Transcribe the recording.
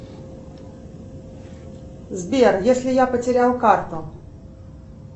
сбер если я потерял карту